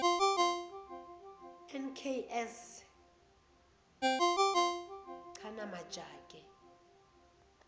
nks chana majake